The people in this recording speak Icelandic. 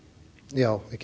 já